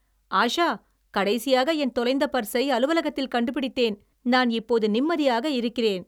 "ஆஷா, கடைசியாக என் தொலைந்த பர்ஸை அலுவலகத்தில் கண்டுபிடித்தேன், நான் இப்போது நிம்மதியாக இருக்கிறேன்."